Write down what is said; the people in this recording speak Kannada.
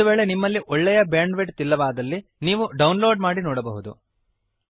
ಒಂದು ವೇಳೆ ನಿಮ್ಮಲ್ಲಿ ಒಳ್ಳೆಯ ಬ್ಯಾಂಡ್ ವಿಡ್ತ್ ಇಲ್ಲದಿದ್ದಲ್ಲಿ ನೀವು ಡೌನ್ ಲೋಡ್ ಮಾಡಿ ನೋಡಬಹುದು